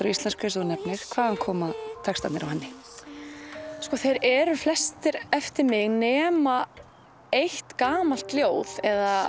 á íslensku eins og þú nefnir hvaðan koma textarnir á henni þeir eru flestir eftir mig nema eitt gamalt ljóð eða